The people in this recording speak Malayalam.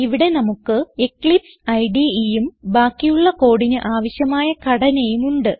ഇവിടെ നമുക്ക് എക്ലിപ്സ് IDEയും ബാക്കിയുള്ള കോഡിന് ആവശ്യമായ ഘടനയും ഉണ്ട്